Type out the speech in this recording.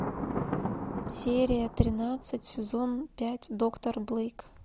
серия тринадцать сезон пять доктор блейк